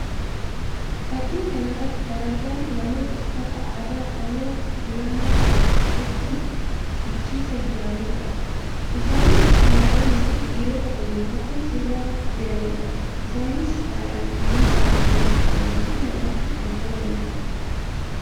Fakkii kana irratti kan argamu namoota uffata aadaa Oromoo Tuulamaa uffachuun dhiichisaa jiranii dha. Isaanis shamarranii fi dhiirota waliin tahuun sirbaa jiranii dha. Isaanis haalaan kan miidhaganii jiranii fi namatti kan tolanii dha.